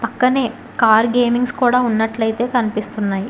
పక్కనే car gamings కూడా ఉన్నట్లయితే కనిపిస్తున్నాయి.